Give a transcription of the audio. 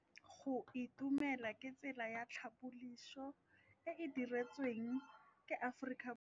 Go itumela ke tsela ya tlhapolisô e e dirisitsweng ke Aforika Borwa ya Bosetšhaba.